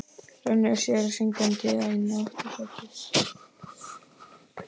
Rennir sér syngjandi inn í aftursætið.